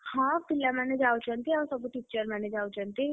ହଁ ପିଲା ମାନେ ଯାଉଛନ୍ତି ଆଉ ସବୁ teacher ମାନେ ଯାଉଛନ୍ତି।